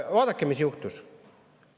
Vaadake, mis juhtus!